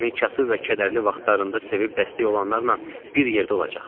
Səni kasıb və kədərli vaxtlarında sevib dəstək olanlarla bir yerdə olacaqsan.